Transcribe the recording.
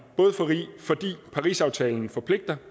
både fordi parisaftalen forpligter